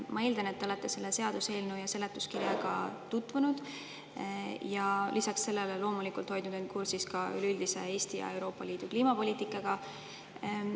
Ma eeldan, et te olete selle seaduseelnõu ja seletuskirjaga tutvunud ja lisaks sellele hoiate end loomulikult kursis ka Eesti ja Euroopa Liidu üleüldise kliimapoliitikaga.